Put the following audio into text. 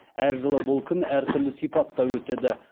әр жылы бұл күн әртүрлі сипатта өтеді